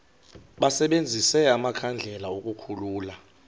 basebenzise amakhandlela ukukhulula